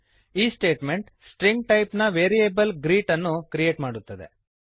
ಈ statement string string type ನ variable greet ಗ್ರೀಟ್ಅನ್ನು ಕ್ರಿಯೇಟ್ ಮಾಡುತ್ತದೆ